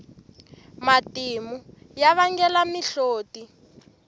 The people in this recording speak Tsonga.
matimu ya vangela mihloti